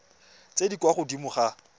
tse di kwa godimo ga